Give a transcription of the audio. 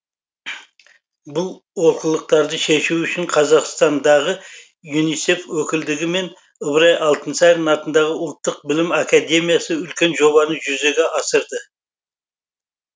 бұл олқылықтарды шешу үшін қазақстандағы юнисеф өкілдігі мен ыбырай алтынсарин атындағы ұлттық білім академиясы үлкен жобаны жүзеге асырды